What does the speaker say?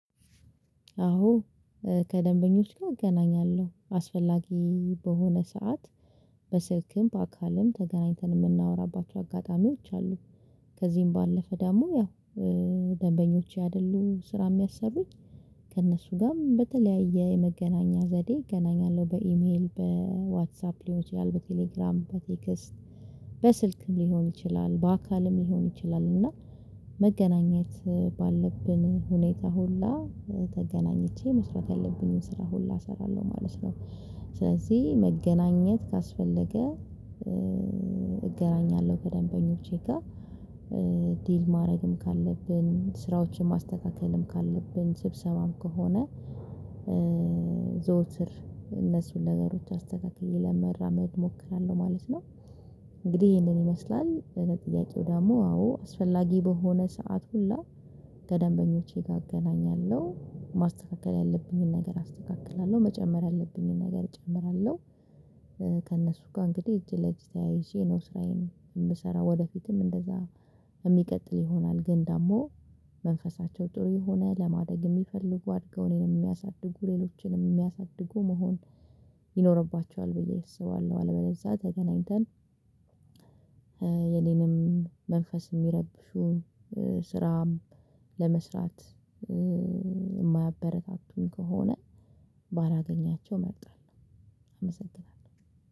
አዎ ከደንበኞች ጋር እገናኛለሁ አስፈላጊ በሆነ ሰዓት በስልክም በአካልም ተገናኝተን የምናወራባቸው አጋጣሚዎች አሉ። ከዚህም ባለፈ ደግሞ ያው ደንበኞቼ አይደሉም ስራ የሚያሰሩኝ ከእነሱ ጋርም በተለያየ የመገናኛ ዘዴ እገናኛለሁ በኢሜል በዋትሳፕ ሊሆን ይችላል በቴሌግራም በቴክስት በስልክም ሊሆን ይችላል በአካልም ሊሆን ይችላል እና መገናኘት ባለብን ሁኔታ ሁላ ተገናኝቼ መስራት ያለብኝን ስራ ሁላ እሰራለሁ ማለት ነው። ስለዚህ መገናኘት ካስፈለገ እገናኛለሁ ከደንበኞቼ ጋር ዲል ማድረግም ካለብን ስራዎችን ማስተካከልም ካለብን ስብሰባም ከሆነ ዘወትር እነሱን ነገሮች አስተካክዬ ለመራመድ እሞክራለሁ ማለት ነው። እንግዲህ ይሄንን ይመስላል በጥያቄው ደግሞ አዎ አስፈላጊ በሆነ ሰዓት ሁላ ከደንበኞቼ ጋር አገናኛለሁ ማስተካከል ያለብኝን ነገር አስተካክላለሁ መጨመር ያለብኝን ነገር እጨምራለሁ። ከእነሱ ጋር እንግዲህ እጅ ለእጅ ተያይዤ ነው ስራዬን የምሰራው ወደፊትም እንደዛ የሚቀጥል ይሆናል። ግን ደግሞ መንፈሳቸው ጥሩ የሆነ ለማደግ የሚፈልጉ አድገው እኔንም የሚያሳድጉ ሌሎችንም የሚያሳድጉ መሆን ይኖርባቸዋል ብዬ አስባለሁ። አለበለዛ ተገናኝተን የኔንም መንፈስ የሚረብሹ ስራም ለመስራት የማያበረታቱኝ ከሆነ ባላገኛቸው እመርጣለሁ። አመሰግናለሁ